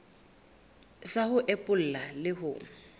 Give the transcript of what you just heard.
sa ho epolla le ho